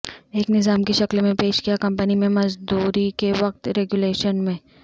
ایک نظام کی شکل میں پیش کیا کمپنی میں مزدوری کے وقت ریگولیشن میں